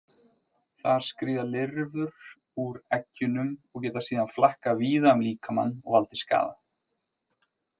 Þar skríða lirfur úr eggjunum og geta síðan flakkað víða um líkamann og valdið skaða.